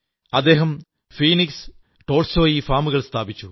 അദ്ദേഹം Phoenix Tolstoy ഫാമുകൾ സ്ഥാപിച്ചു